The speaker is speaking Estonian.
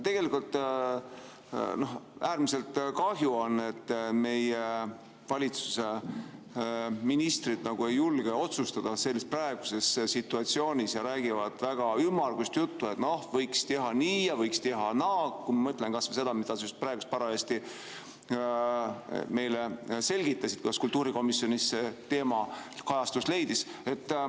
Tegelikult on äärmiselt kahju, et meie valitsuse ministrid ei julge otsustada selles praeguses situatsioonis ja räägivad väga ümmargust juttu, et võiks teha nii ja võiks teha naa – kui ma mõtlen kas või sellele, mida sa parajasti meile selgitasid, kuidas kultuurikomisjonis see teema kajastust leidis.